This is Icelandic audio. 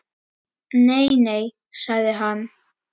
Nei, nei sagði hann.